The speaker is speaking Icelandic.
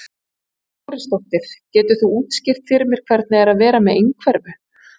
Hrund Þórsdóttir: Geturðu útskýrt fyrir mér hvernig er að vera með einhverfu?